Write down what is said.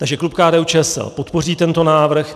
Takže klub KDU-ČSL podpoří tento návrh.